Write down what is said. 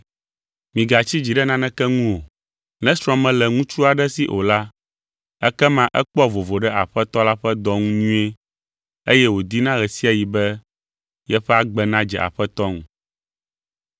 Migatsi dzi ɖe naneke ŋu o. Ne srɔ̃ mele ŋutsu aɖe si o la, ekema ekpɔa vovo ɖe Aƒetɔ la ƒe dɔ ŋu nyuie eye wòdina ɣe sia ɣi be yeƒe agbe nadze Aƒetɔ ŋu.